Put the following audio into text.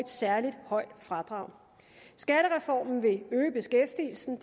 særlig højt fradrag skattereformen vil øge beskæftigelsen